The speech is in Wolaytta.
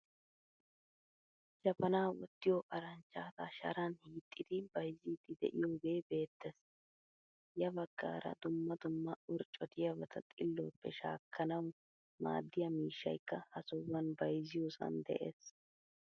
Jabaana wottiyo aranchchata sharan hiixidi bay'zzidi deiyoga be'ettees. Ya baggaara dumma dumma orccotiyabata xiluwappe shaakanawu maadiyaa miishshaykka ha sohuwan bayzziyosan de'ees.